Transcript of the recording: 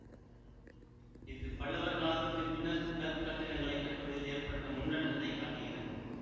இது பல்லவர் காலத்துக்கு பின்னர் கற் கட்டிடங்களை கட்டுவதில் ஏற்பட்ட முன்னேற்றத்தைக் காட்டுகிறது